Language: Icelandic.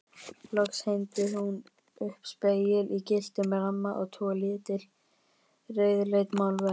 Loks hengdi hún upp spegil í gylltum ramma og tvö lítil rauðleit málverk.